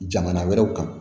Jamana wɛrɛw kan